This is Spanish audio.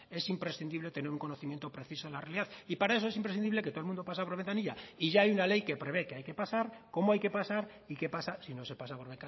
es imprescindible tener un conocimiento preciso de la realidad para eso es imprescindible que todo el mundo pase por ventanilla y ya hay una ley que prevé que hay que pasar cómo hay que pasar y qué pasa si no se pasa por